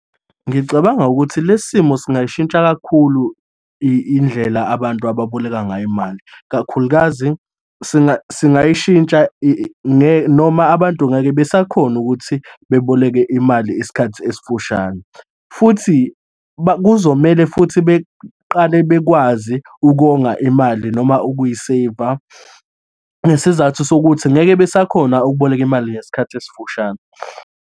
Ngicabanga ukuthi lesi simo singayishintsha kakhulu indlela abantu ababoleka ngayo imali, kakhulukazi singayishintsha noma abantu ngeke besakhona ukuthi beboleke imali isikhathi esifushane, futhi kuzomele futhi beqale bekwazi ukonga imali noma ukuyiseyiva, ngesizathu sokuthi ngeke besakhona ukuboleka imali ngesikhathi esifushane.